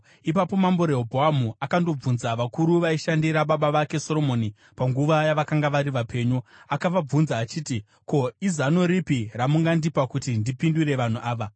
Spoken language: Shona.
Ipapo Mambo Rehobhoamu akandobvunza vakuru vaisishandira baba vake Soromoni panguva yavakanga vari vapenyu. Akavabvunza achiti, “Ko, izano ripi ramungandipa kuti ndipindure vanhu ava?”